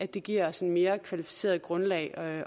det giver os et mere kvalificeret grundlag at